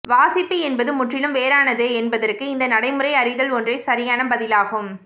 வாசிப்பு என்பது முற்றிலும் வேறானது என்பதற்கு இந்த நடைமுறை அறிதல் ஒன்றே சரியான பதிலாகும்